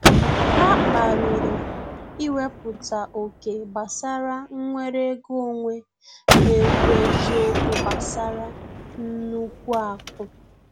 Ha kpariri iweputa oké gbasara nwere ego onwe na ekwu eziokwu gbasara nnukwu aku